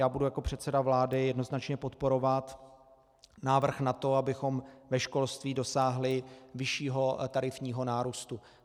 Já budu jako předseda vlády jednoznačně podporovat návrh na to, abychom ve školství dosáhli vyššího tarifního nárůstu.